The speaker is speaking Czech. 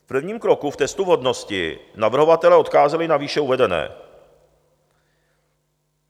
V prvním kroku, v testu vhodnosti, navrhovatelé odkázali na výše uvedené;